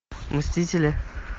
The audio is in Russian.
мстители